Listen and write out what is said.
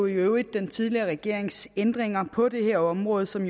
øvrigt den tidligere regerings ændringer på det her område som